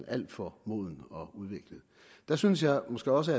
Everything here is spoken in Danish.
er alt for moden og udviklet der synes jeg måske også